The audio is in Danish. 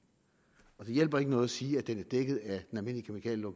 og det hjælper ikke noget at sige at den er dækket af